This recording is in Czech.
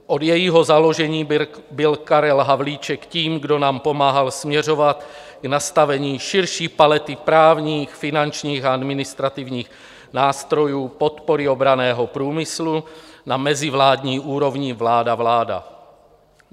Od jejího založení byl Karel Havlíček tím, kdo nám pomáhal směřovat k nastavení širší palety právních, finančních a administrativních nástrojů podpory obranného průmyslu na mezivládní úrovni vláda-vláda.